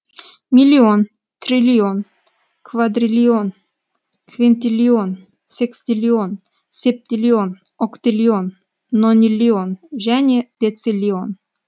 миллион триллион квадриллион квинтиллион секстиллион септиллион октиллион нониллион және дециллион